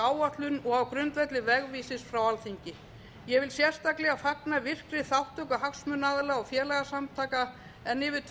áætlun og á grundvelli vegvísis frá alþingi ég fagna sérstaklega virkri þátttöku hagsmunaaðila og félagasamtaka en yfir tvö